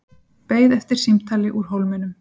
Beið eftir símtali úr Hólminum